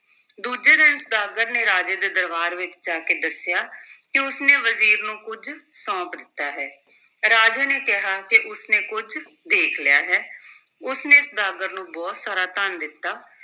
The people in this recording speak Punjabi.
ਦੂਜੇ ਦਿਨ ਸੁਦਾਗਰ ਨੇ ਰਾਜੇ ਦੇ ਦਰਬਾਰ ਵਿੱਚ ਜਾ ਕੇ ਦੱਸਿਆ ਕਿ ਉਸ ਨੇ ਵਜ਼ੀਰ ਨੂੰ ਕੁੱਝ ਸੌਂਪ ਦਿੱਤਾ ਹੈ, ਰਾਜੇ ਨੇ ਕਿਹਾ ਕਿ ਉਸ ਨੇ ਕੁੱਝ ਦੇਖ ਲਿਆ ਹੈ ਉਸ ਨੇ ਸੁਦਾਗਰ ਨੂੰ ਬਹੁਤ ਸਾਰਾ ਧਨ ਦਿੱਤਾ।